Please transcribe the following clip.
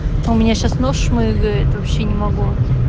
у меня сейчас нос шмыгает вообще не могу